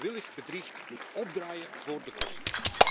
Wie moedwillig bedriegt, moet opdraaien voor de kosten.